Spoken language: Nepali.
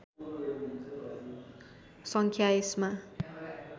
सङ्ख्या यसमा